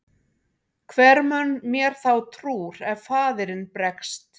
Hver mun mér þá trúr ef faðirinn bregst?